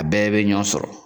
A bɛɛ be ɲɔn sɔrɔ